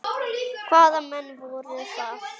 Hvaða menn voru það?